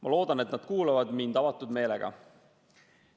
Ma loodan, et nad kuulavad mind avatud meelega.